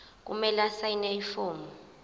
kumele asayine ifomu